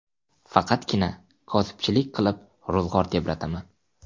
Faqatgina kosibchilik qilib ro‘zg‘or tebrataman.